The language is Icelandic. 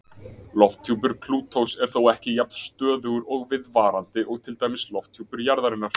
Lofthjúpur Plútós er þó ekki jafn stöðugur og viðvarandi og til dæmis lofthjúpur jarðarinnar.